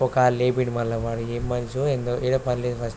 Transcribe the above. ఒక్కాలు లేపిండు మళ్ళా ఏం మనిషో ఏందో ఏడ పని లేదు ఫస్ట్ .